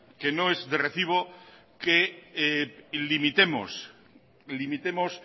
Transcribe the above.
que no es de recibo que limitemos